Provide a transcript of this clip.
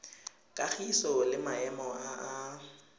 kagiso le maemo a a